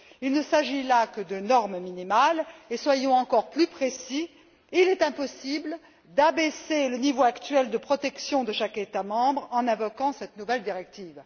Il ne s'agit là que de normes minimales et soyons clairs il est impossible d'abaisser le niveau actuel de protection de chaque État membre en invoquant cette nouvelle directive.